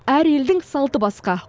әр елдің салты басқа